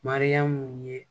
Mariyamu ye